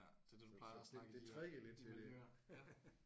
Så det du plejer at snakke det